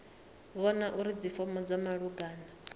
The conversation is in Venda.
vhona uri dzifomo dza malugana